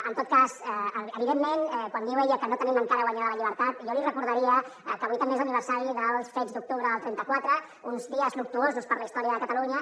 en tot cas evidentment quan diu ella que no tenim encara guanyada la llibertat jo li recordaria que avui també és l’aniversari dels fets d’octubre del trenta quatre uns dies luctuosos per la història de catalunya